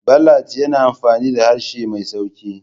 Ballads yana amfani da harshe mai sauƙi.